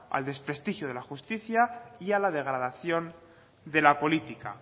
al desprestigio de la justicia y a la degradación de la política